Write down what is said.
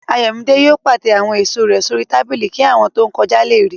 Ayọ̀mídé yóò pàtẹ àwọn èèso rẹ̀ sórí tábìlì kí àwọn tó n kọjá lè ríi